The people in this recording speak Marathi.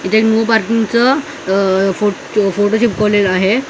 इथं नो पार्किंगचं फोटो चिटकवलेलं आहे.